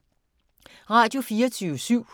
Radio24syv